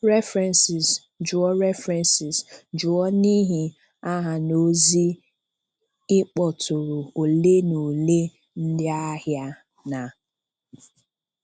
References: Jụọ References: Jụọ n’ihi àhà na ozi ịkpọ̀tụrụ ole na ole ndị ahịa na-.